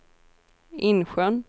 Insjön